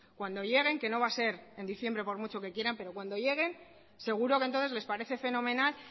cuando lleguen que no va a ser en diciembre por mucho que quieran pero cuando lleguen seguro que entonces les parece fenomenal